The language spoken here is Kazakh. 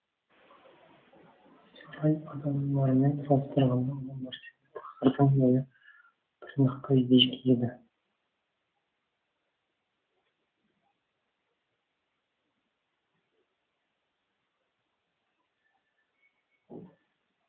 сарай адамдарымен салыстырғанда ұлы мәртебелі тақсырдың бойы тырнақтай биік еді